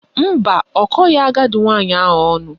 Mba, ọ kọghị agadi nwaanyị ahụ ọnụ